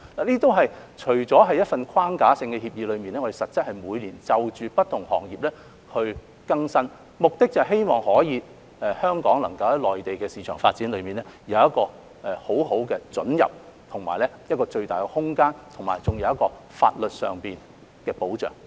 CEPA 除了是一份框架性協議，但實質是我們每年會就不同行業更新，目的是希望香港能夠在內地市場發展有很好的准入，以及有最大的空間，並得到法律上的保障。